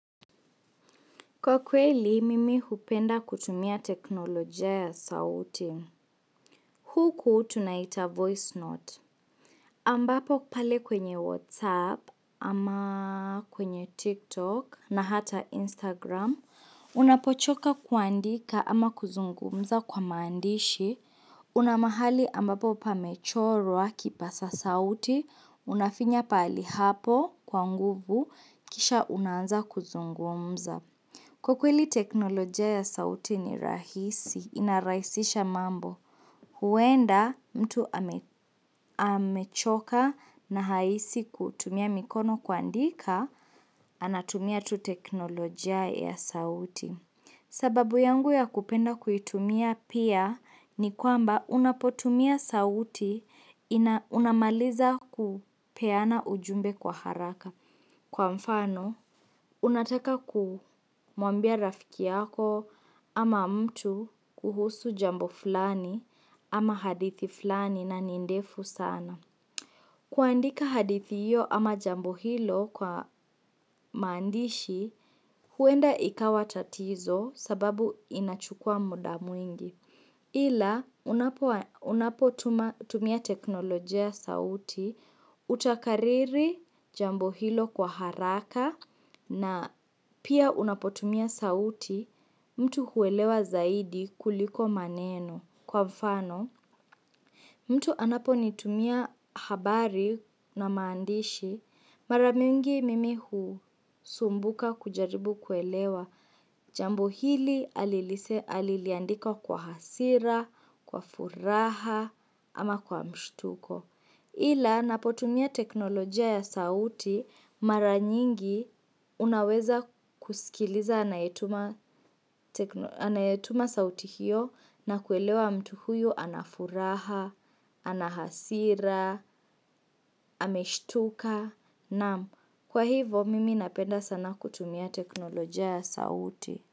Kwa kweli, mimi hupenda kutumia teknolojia ya sauti. Huku tunaita voice note. Ambapo pale kwenye WhatsApp ama kwenye TikTok na hata Instagram, unapochoka kuandika ama kuzungumza kwa mandishi, unamahali ambapo pa mechorwa kipasa sauti, unafinya pali hapo kwa nguvu kisha unanza kuzungumza. Kukweli teknolojia ya sauti ni rahisi, inarahisisha mambo. Huenda mtu amechoka na haisi kutumia mikono kuandika, anatumia tu teknolojia ya sauti. Sababu yangu ya kupenda kuitumia pia ni kwamba unapotumia sauti ina unamaliza kupeana ujumbe kwa haraka. Kwa mfano, unataka kumwambia rafiki yako ama mtu kuhusu jambo fulani ama hadithi fulani nani ndefu sana. Kuandika hadithiyo ama jambo hilo kwa mandishi, huenda ikawa tatizo sababu inachukua muda mwingi. Ila unapotumia teknolojia ya sauti, utakariri jambo hilo kwa haraka na pia unapotumia sauti mtu huelewa zaidi kuliko maneno kwa mfano. Mtu anapo nitumia habari na maandishi. Maramingi mimi husumbuka kujaribu kuelewa. Jambo hili aliliandika kwa hasira, kwa furaha ama kwa mshtuko. Ila napotumia teknolojia ya sauti maranyingi unaweza kusikiliza anayetuma sauti hiyo na kuelewa mtu huyu anafuraha. Ana hasira, ameshtuka, naamu kwa hivo mimi napenda sana kutumia teknoloja ya sauti.